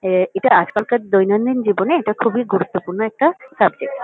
এ এটা আজকালকার দৈনন্দিন জীবনে এটা খুবই গুরুত্বপূর্ণ একটা সাবজেক্ট ।